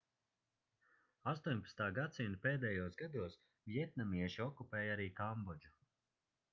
18. gs pēdējos gados vjetnamieši okupēja arī kambodžu